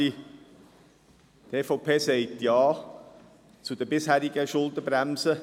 Die EVP sagt Ja zur bisherigen Schuldenbremse.